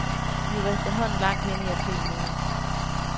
Vi var efterhånden langt henne i april måned.